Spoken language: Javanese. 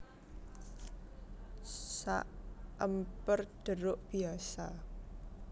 Saèmper Deruk biasa